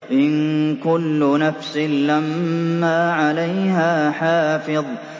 إِن كُلُّ نَفْسٍ لَّمَّا عَلَيْهَا حَافِظٌ